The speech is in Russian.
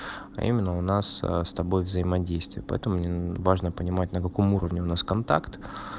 именно у нас с тобой взаимодействия поэтому мне важно понимать на каком уровне у нас контакт